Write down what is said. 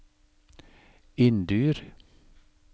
Inndyr